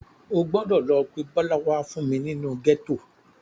O gbọdọ̀ lọ pé Bọ́lá wá fún mi nínú gẹ́tò.